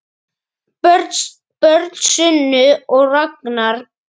Börn Sunna og Ragnar.